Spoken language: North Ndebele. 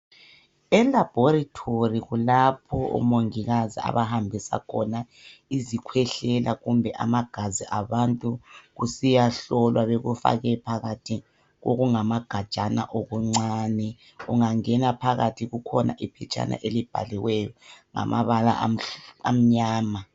ELaboratory kulapho omongikazi abahambisa khona izikhwehlela, kumbe amagazi., abantu esiyahlolwa. Bekufake phakathi kwamagajana amancane. Ungangena phakathi kukhona amaphetshana amnyama.